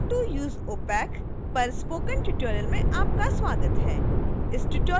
how to use opac पर spoken tutorial में आपका स्वागत है